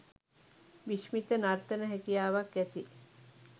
විශ්මිත නර්තන හැකියාවක් ඇති